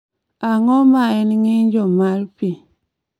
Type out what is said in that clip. Ang�o ma en ng�injo ma pi?